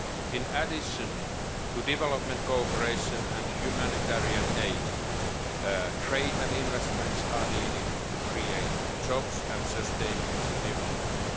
In addition to development cooperation and humanitarian aid, trade and investments are needed to create jobs and sustainable development.